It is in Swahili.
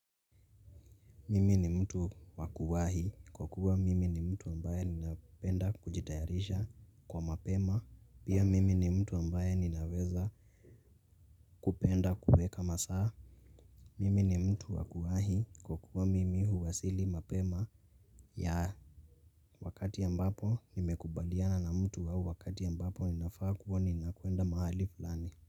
Mimi ni mtu wakuwahi kwa kuwa mimi ni mtu ambaye ninapenda kujitayarisha kwa mapema pia mimi ni mtu ambaye ninaweza kupenda kuweka masaa. Mimi ni mtu wakuwahi kwa kuwa mimi huwasili mapema ya wakati ambapo nimekubaliana na mtu au wakati ambapo ninafaa kuwa ninakwenda mahali fulani.